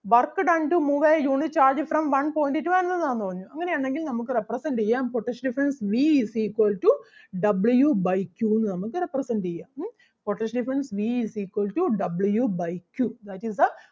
work done to move a unit charge from one point to another ആന്ന് പറഞ്ഞു അങ്ങനെ ആണെങ്കിൽ നമുക്ക് represent ചെയ്യാം potential difference V is equal to W by two എന്ന് നമുക്ക് represent ചെയ്യാം. Um potential difference V is equal to W by two that is the